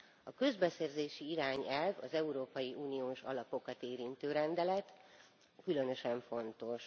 A közbeszerzési irányelv az európai uniós alapokat érintő rendelet, különösen fontos.